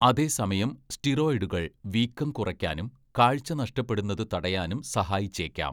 അതേസമയം, സ്റ്റിറോയിഡുകൾ വീക്കം കുറയ്ക്കാനും, കാഴ്ച നഷ്ടപ്പെടുന്നത് തടയാനും സഹായിച്ചേക്കാം.